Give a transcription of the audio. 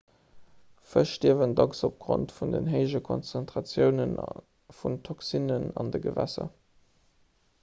fësch stierwen dacks opgrond vun den héije konzentratioune vun toxinen an de gewässer